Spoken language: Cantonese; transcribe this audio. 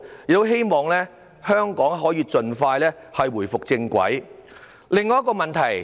我希望香港可以盡快返回正軌。